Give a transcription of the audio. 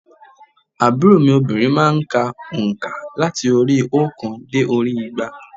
Àbúrò mi obìnrin má a n ka ònkà láti orí óòkan dé orí i igba